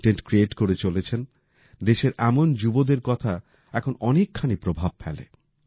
content create করে চলেছেন দেশের এমন যুবদের কথা এখন অনেকখানি প্রভাব ফেলে